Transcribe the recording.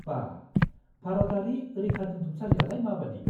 -बा, भारतारि रैखादोन्थुमसालियालाय माबादि?